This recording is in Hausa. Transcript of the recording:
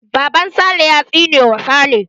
Baban sale ya tsine ma sale.